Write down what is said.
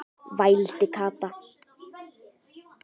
vældi Kata.